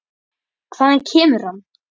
Hvaðan kemur hann?